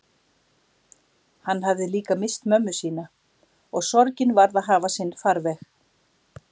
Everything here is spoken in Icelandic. Hann hafði líka misst mömmu sína, og sorgin varð að hafa sinn farveg.